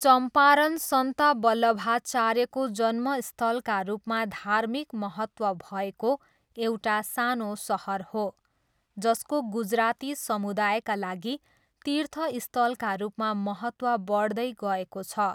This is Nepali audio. चम्पारन सन्त वल्लभाचार्यको जन्मस्थलका रूपमा धार्मिक महत्त्व भएको एउटा सानो सहर हो, जसको गुजराती समुदायका लागि तीर्थस्थलका रूपमा महत्त्व बढ्दै गएको छ।